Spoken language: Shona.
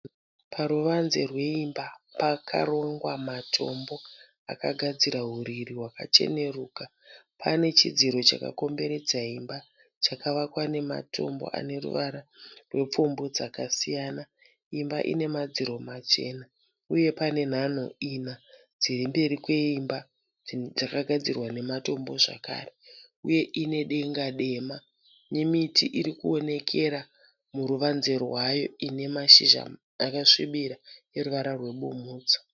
Paruvanze rweimba. Pakarongwa matombo akagadzira huriri hwakacheneruka. Pane chidziro chakakomberedza imba chakavakwa nematombo ane ruvara rwepfumbu dzakasiyana. Imba ine madziro machena uye pane nhanho ina dziri mberi kweimba dzakagadzirwa nematombo zvakare uye ine denga dema nemiti iri kuonekera muruvadze rwayo ine mashizha akasvibira eruvara rwebumhudzo.